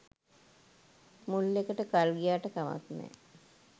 මුල් එකට කල් ගියාට කමක් නෑ.